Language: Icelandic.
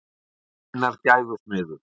Hver er sinnar gæfu smiður.